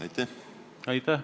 Aitäh!